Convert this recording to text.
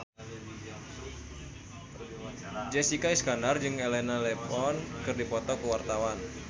Jessica Iskandar jeung Elena Levon keur dipoto ku wartawan